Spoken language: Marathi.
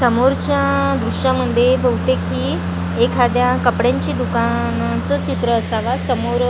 समोरच्या दृश्यामध्ये बहुतेक हि एखाद्या कपड्यांची दुकानाचं चित्र असावा समोर --